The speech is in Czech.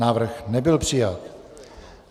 Návrh nebyl přijat.